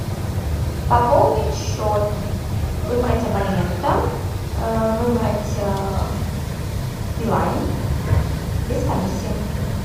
пополнить счет выбрать абонента выбрать билайн без комиссии